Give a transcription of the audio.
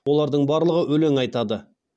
олардың барлығы өлең айтады